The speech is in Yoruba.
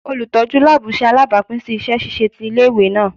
Olutọju laabu ṣe alabapin si iṣẹ ṣiṣe ti ile-iwe naa